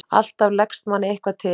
Alltaf leggst manni eitthvað til.